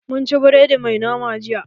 Mun ci biredi mai nama jiya.